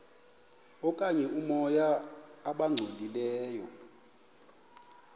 okanye oomoya abangcolileyo